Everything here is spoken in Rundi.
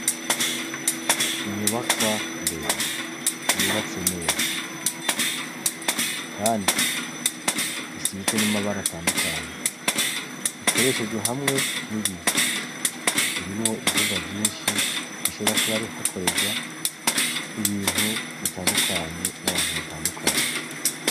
Inyubakwa ndende, yubatse neza. Kandi isizwe n'amabara atandukanye. Ikoreshejwe hamwe n'ibiyo. Irimwo ivyumba vyinshi, hashobora kuba hakorerwa ibintu bitandukanye n'abantu batandukanye.